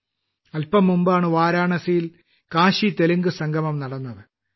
കുറച്ചു ദിവസങ്ങൾക്കു മുമ്പാണ് വാരാണസിയിൽ കാശീതെലുങ്ക് സംഗമം നടന്നത്